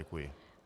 Děkuji.